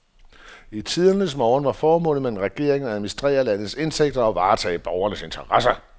I tidernes morgen var formålet med en regering at administrere landets indtægter og varetage borgernes interesser.